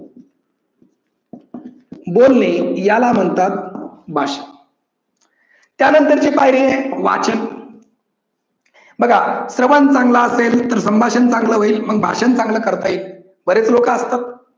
बोलणे याला म्हणतात भाषण. त्या नंतर ची पायरी आहे वाचन. बघा श्रवण चांगल असेल तर संभाषण चांगल होईल, भाषण चांगल करता येईल. बरेच लोकअसतात